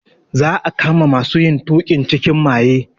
Za a kama masu yin tuƙin cikin maye.